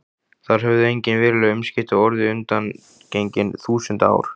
Þar höfðu engin veruleg umskipti orðið undangengin þúsund ár.